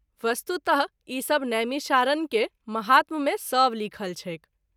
वस्तुतः ई सभ नैमिषारण के महात्म मे सभ लिखल छैक।